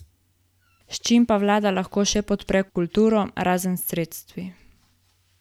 S čim pa vlada lahko še podpre kulturo, razen s sredstvi?